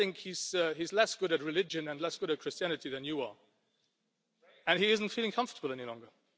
I do not think he is less good at religion and less good at Christianity than you are, and he is not feeling comfortable any longer.